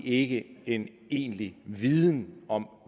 ikke en egentlig viden om